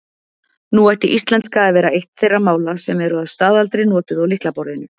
Nú ætti íslenska að vera eitt þeirra mála sem eru að staðaldri notuð á lyklaborðinu.